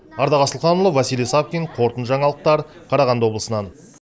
ардақ асылханұлы василий савкин қорытынды жаңалықтар қарағанды облысынан